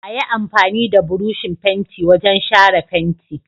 Ayi amfani da burushin fenti wajan shara fenti